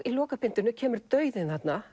í lokabindinu kemur dauðinn þarna